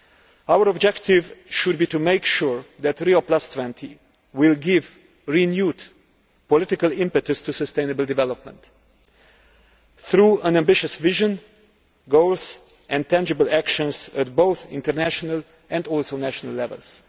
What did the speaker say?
Our objective should be to make sure that Rio20 will give renewed political impetus to sustainable development through an ambitious vision, goals and tangible actions at both international and also national levels.